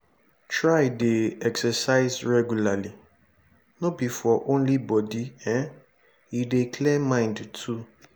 try de exercise regularly no be for only body um e dey clear mind too